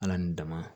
Ala ni dama